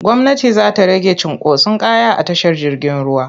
Gwmnati za ta rage cunkoson kaya a tashar jirgin ruwa.